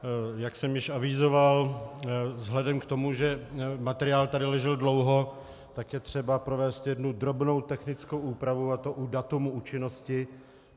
Jak jsem již avizoval, vzhledem k tomu, že materiál tady ležel dlouho, tak je třeba provést jednu drobnou technickou úpravu, a to u data účinnosti.